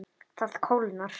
Það kólnar.